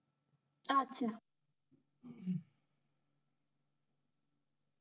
আচ্ছা,